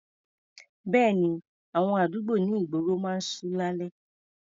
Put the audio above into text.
Bẹ́ẹ̀ni, àwọn àdúgbò ní ìgboro máa ń ṣú lálẹ́.